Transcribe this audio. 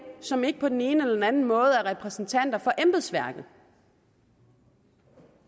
som ikke på den ene eller den anden måde er repræsentanter for embedsværket